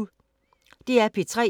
DR P3